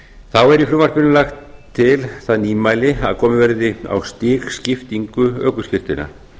þá er í frumvarpinu lagt til það nýmæli að komið verði á stigskiptingu ökuskírteina